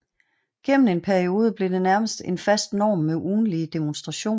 Gennem en periode blev det nærmest en fast norm med ugentlige demonstrationer